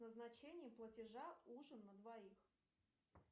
назначение платежа ужин на двоих